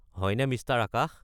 হয়নে, মিষ্টাৰ আকাশ?